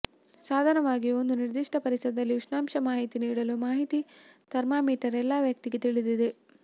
ಸಾಧನವಾಗಿ ಒಂದು ನಿರ್ದಿಷ್ಟ ಪರಿಸರದಲ್ಲಿ ಉಷ್ಣಾಂಶ ಮಾಹಿತಿ ನೀಡಲು ಮಾಹಿತಿ ಥರ್ಮಾಮೀಟರ್ ಎಲ್ಲಾ ವ್ಯಕ್ತಿಗೆ ತಿಳಿದಿದೆ